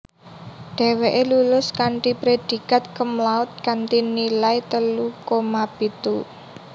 Dheweke lulus kanthi predikat cumlaude kanthi nilai telu koma pitu